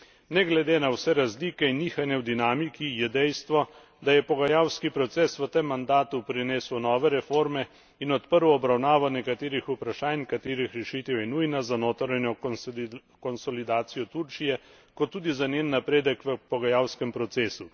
Ne glede na vse razlike in nihanja v dinamiki je dejstvo, da je pogajalski proces v tem mandatu prinesel nove reforme in odprl obravnavo nekaterih vprašanj, katerih rešitev je nujna za notranjo konsolidacijo Turčije kot tudi za njen napredek v pogajalskem procesu.